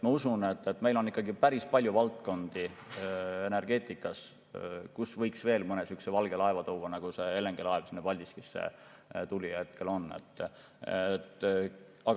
Ma usun, et meil on energeetikas päris palju valdkondi, kuhu võiks veel mõne valge laeva tuua, nagu see LNG‑laev sinna Paldiskisse tulemas on.